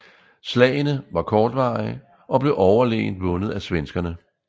Slagene var kortvarige og blev overlegent vundet af svenskerne